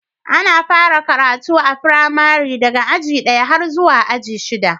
Ana fara karatu a firamari daga aji ɗaya har zuwa aji shida.